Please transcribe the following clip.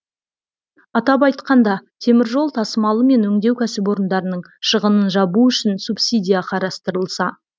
атап айтқанда теміржол тасымалы мен өңдеу кәсіпорындарының шығынын жабу үшін субсидия қарастырылса